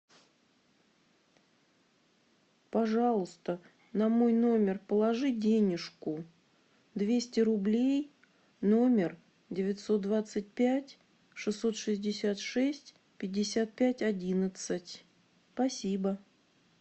пожалуйста на мой номер положи денежку двести рублей номер девятьсот двадцать пять шестьсот шестьдесят шесть пятьдесят пять одиннадцать спасибо